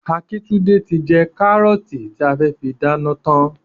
Akíntúndé ti jẹ kárọ́ọ̀tì tí a fẹ́ fi dáná tán.